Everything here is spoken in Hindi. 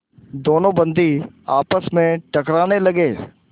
दोनों बंदी आपस में टकराने लगे